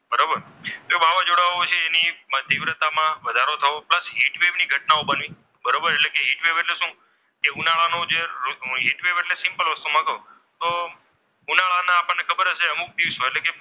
તીવ્રતામાં વધારો થવો, plus heat wave ની ઘટનાઓ બનવી. બરોબર એટલે હીટ વેવ એટલે શું? કે ઉનાળાનો જે હીટ વેવ એટલે સિમ્પલ વસ્તુ છે. તો ઉનાળાના માં આપણને ખબર હશે અમુક દિવસો,